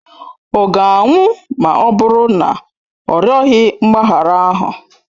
Ọ ga-anwụ ma ọ bụrụ na ọ rịọghị mgbaghara ahụ?